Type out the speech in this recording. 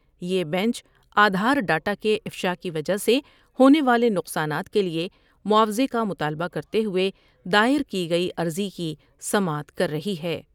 یہ bench Aadhaar data کے افشا کی وجہ سے ہونے والے نقصانات کے لیے معاوضے کا مطالبہ کرتے ہوئے دائر کی گئی عرضی کی سماعت کر رہی ہے ۔